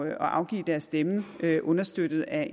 at afgive deres stemme understøttet af